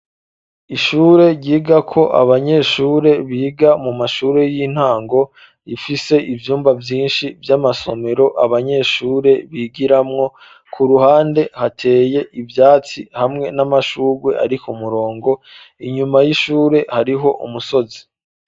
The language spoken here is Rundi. Ishure ryigako abanyeshure biga mu mashuri y'intango, rifise ivyumba vyinshi vy'amasomero abanyeshure bigiramwo, ku ruhande hateye ivyatsi hamwe n'amashugwe arikumurongo, inyuma y'ishure hariho umusozi.